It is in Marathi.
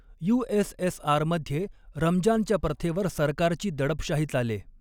यूएसएसआरमध्ये रमजानच्या प्रथेवर सरकारची दडपशाही चाले.